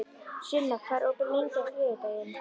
Sunna, hvað er opið lengi á þriðjudaginn?